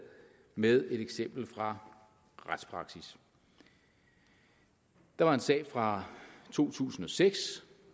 med et eksempel fra retspraksis der var en sag fra to tusind og seks